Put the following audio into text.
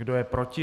Kdo je proti?